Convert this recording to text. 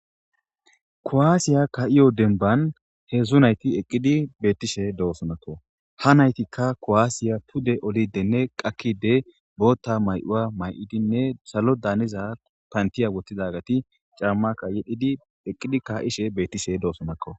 kowaasiya ka7iyo denban he dzdzu nayti eqqidi beettishe doossonako ha naytikka kowaasiya pude olidenne qakkide bootta may7uwa may7idinne salo daaniza pantiya wottidagati cammakka yedidi eqqidi ka7ishe beettishe doosonakko